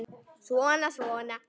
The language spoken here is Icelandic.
Svona, svona